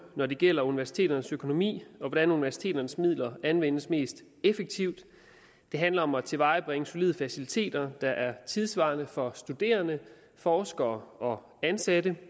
når det gælder universiteternes økonomi og hvordan universiteternes midler anvendes mest effektivt det handler om at tilvejebringe solide faciliteter der er tidssvarende for studerende forskere og ansatte